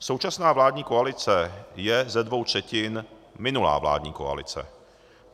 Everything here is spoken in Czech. Současná vládní koalice je ze dvou třetin minulá vládní koalice.